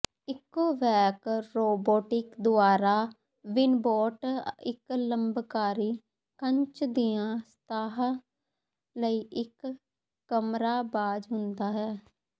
Ecovacs robotic ਦੁਆਰਾ Winbot ਇੱਕ ਲੰਬਕਾਰੀ ਕੱਚ ਦੀਆਂ ਸਤਹਾਂ ਲਈ ਇੱਕ ਕਮਰਾਬਾਜ ਹੁੰਦਾ ਹੈ